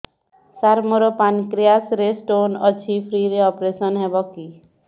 ସାର ମୋର ପାନକ୍ରିଆସ ରେ ସ୍ଟୋନ ଅଛି ଫ୍ରି ରେ ଅପେରସନ ହେବ କି